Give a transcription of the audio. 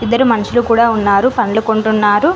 మనుషులు కూడా ఉన్నారు పండ్లు కొంటున్నారు.